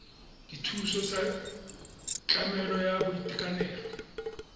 dithuso tsa tlamelo ya boitekanelo